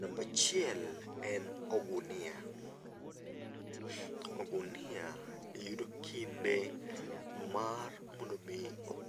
Namba achiel en ogunia. Ogunia yudo kinde mar mondo mi